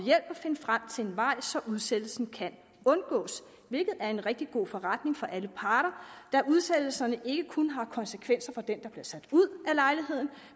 finde frem til en vej så udsættelsen kan undgås hvilket er en rigtig god forretning for alle parter da udsættelsen ikke kun har konsekvenser for den der bliver sat ud